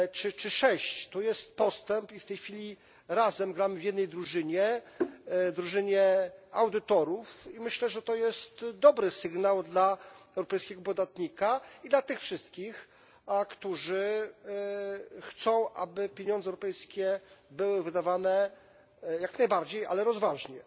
czy 6 lat temu. To jest postęp i w tej chwili razem gramy w jednej drużynie, drużynie audytorów, i myślę, że to jest dobry sygnał dla europejskiego podatnika i dla tych wszystkich, którzy chcą, aby pieniądze europejskie były wydawane jak najbardziej rozważnie.